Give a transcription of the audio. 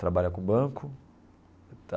Trabalha com banco.